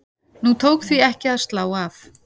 Nú tók því ekki að slá af.